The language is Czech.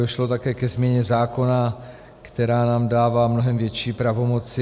Došlo také ke změně zákona, která nám dává mnohem větší pravomoci.